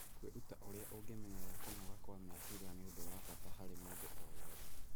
Kwĩruta ũrĩa ũngĩmenyerera kũnoga kwa meciria nĩ ũndũ wa bata harĩ mũndũ owothe.